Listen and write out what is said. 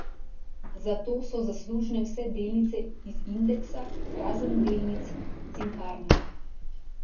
Za to so zaslužne vse delnice iz indeksa, razen delnic Cinkarne.